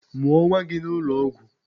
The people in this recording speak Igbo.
Mụọ nwa gị n'ụlọ ọgwụ!